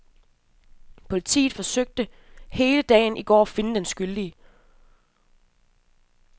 Politiet forsøgte hele dagen i går at finde den skyldige.